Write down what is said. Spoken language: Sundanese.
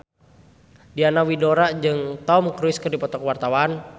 Diana Widoera jeung Tom Cruise keur dipoto ku wartawan